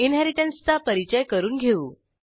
इनहेरिटन्सचा परिचय करून घेऊ